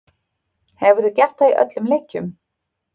Hefur gert það í öllum leikjum